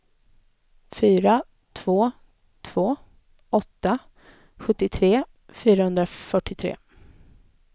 fyra två två åtta sjuttiotre femhundrafyrtiotre